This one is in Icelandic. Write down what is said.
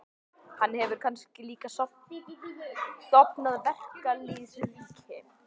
Hann hefur kannski líka stofnað verkalýðsríki?